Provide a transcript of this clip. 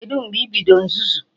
Kedụ mgbe ibido nzuzu?